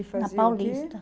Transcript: na Paulista. E fazia o que?